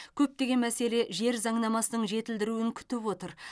көптеген мәселе жер заңнамасының жетілдіруін күтіп отыр